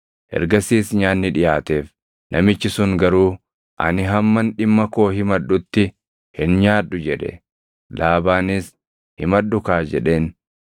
Ergasiis nyaanni dhiʼaateef; namichi sun garuu, “Ani hamman dhimma koo himadhutti hin nyaadhu” jedhe. Laabaanis, “Himadhukaa” jedheen.